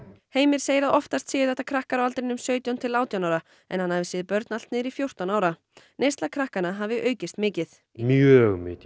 Heimir segir að oftast séu þetta krakkar á aldrinum sautján til átján ára en hann hafi séð börn allt niður í fjórtán ára neysla krakkanna hafi aukist mikið mjög mikið